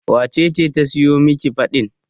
wacece ta siyo Miki fad ɗin?